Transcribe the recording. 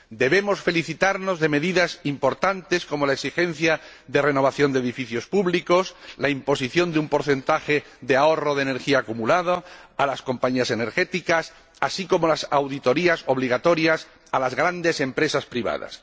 Debemos felicitarnos por medidas importantes, como la exigencia de renovación de edificios públicos, la imposición de un porcentaje de ahorro de energía acumulada a las compañías energéticas, así como las auditorías obligatorias impuestas a las grandes empresas privadas.